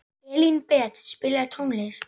Elínbet, spilaðu tónlist.